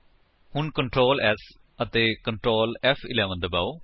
ਹੁਣ Ctrl S ਅਤੇ Ctrl ਫ਼11 ਦਬਾਓ